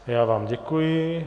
Já vám děkuji.